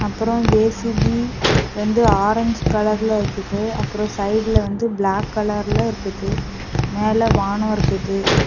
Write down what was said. அப்ரோ ஜே_சி_பி வந்து ஆரஞ் கலர்ல இருக்குது அப்ரோ சைடுல வந்து பிளாக் கலர்ல இருக்குது மேலே வானோ இருக்குது.